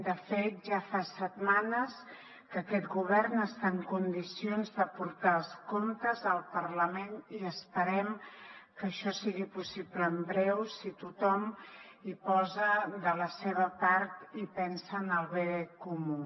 de fet ja fa setmanes que aquest govern està en condicions de portar els comptes al parlament i esperem que això sigui possible en breu si tothom hi posa de la seva part i pensa en el bé comú